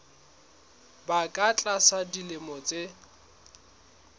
ba ka tlasa dilemo tse